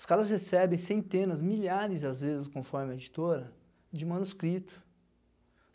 Os caras recebem centenas, milhares, às vezes, conforme a editora, de manuscrito.